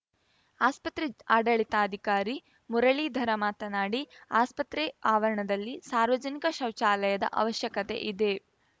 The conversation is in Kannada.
ಆಸ್ಪತ್ರೆ ಆಡಳಿತಾಧಿಕಾರಿ ಮುರುಳೀಧರ ಮಾತನಾಡಿ ಆಸ್ಪತ್ರೆ ಆವರಣದಲ್ಲಿ ಸಾರ್ವಜನಿಕ ಶೌಚಲಯದ ಅವಶ್ಯಕತೆ ಇದೆ